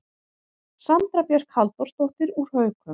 Sandra Björk Halldórsdóttir úr Haukum